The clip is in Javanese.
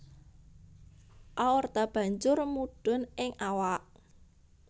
Aorta banjur mudhun ing awak